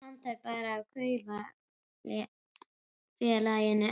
Pantar bara í kaupfélaginu